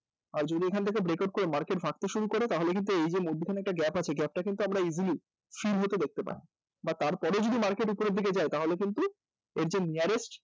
আর এখান থেকে breakout করতে গিয়ে যদি market তে শুরু করে তাহলে এখানে যে gap টা আছে সেই gap টা কিন্তু easily শুরু হতে দেখতে পান বা তার পরেও যদি market উপরের দিকে যায় তাহলেও কিন্তু এর যে nearest